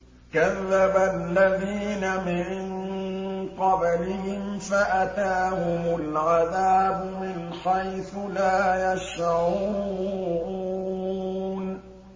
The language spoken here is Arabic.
كَذَّبَ الَّذِينَ مِن قَبْلِهِمْ فَأَتَاهُمُ الْعَذَابُ مِنْ حَيْثُ لَا يَشْعُرُونَ